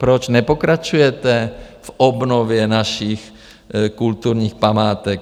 Proč nepokračujete v obnově našich kulturních památek?